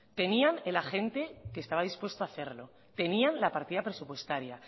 tenían el agente que estaba dispuesto a hacerlo tenían la partida presupuestaria